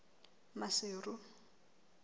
maseru